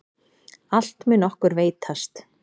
Allt mun okkur veitast.